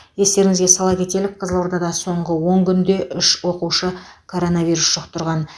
естеріңізге сала кетелік қызылордада соңғы он күнде үш оқушы коронавирус жұқтырған